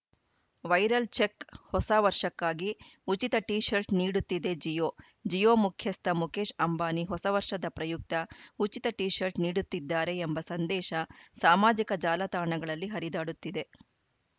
viral check ಹೊಸ ವರ್ಷಕ್ಕಾಗಿ ಉಚಿತ ಟಿಶರ್ಟ್‌ ನೀಡುತ್ತಿದೆ ಜಿಯೋ ಜಿಯೋ ಮುಖ್ಯಸ್ಥ ಮುಕೇಶ್‌ ಅಂಬಾನಿ ಹೊಸ ವರ್ಷದ ಪ್ರಯುಕ್ತ ಉಚಿತ ಟಿಶರ್ಟ್‌ ನೀಡುತ್ತಿದ್ದಾರೆ ಎಂಬ ಸಂದೇಶ ಸಾಮಾಜಿಕ ಜಾಲತಾಣಗಳಲ್ಲಿ ಹರಿದಾಡುತ್ತಿದೆ